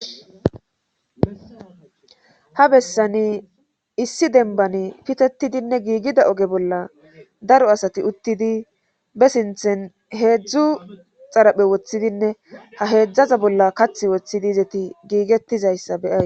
ha bessani issi denbani pitetidinne giigida oge bolla daro asati uttidi be sinthen heedzdzu xaraphe woththidinne ha heedzdzaza bolla kath woththidi izeti giigettizayssa beya